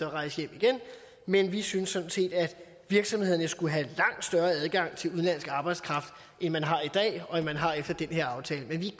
rejse hjem igen men vi synes sådan set at virksomhederne skulle have langt større adgang til udenlandsk arbejdskraft end man har i dag og end man har efter den her aftale men vi